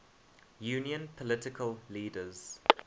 union political leaders